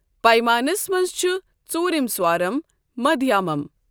پیمانَس منٛز چھُ ژوٗرِم سوارم مدھیامم۔